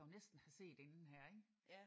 Ja den burde jeg jo næsten have set inden her ik?